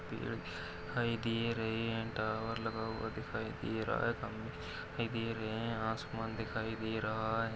पेड़ दिखाई दे रहे है अँड टावर लगा हुआ दिखाई दे रहा है दे रहे है आसमान दिखाई दे रहा है।